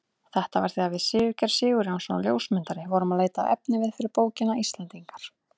Þetta var þegar við Sigurgeir Sigurjónsson ljósmyndari vorum að leita að efniviði fyrir bókina Íslendingar.